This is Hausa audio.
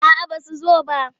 A'aba su zo ba.